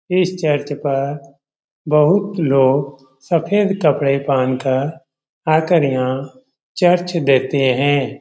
इस चर्च पर बहुत लोग सफेद कपड़े पहनकर आकर यहाँ चर्च देखते है।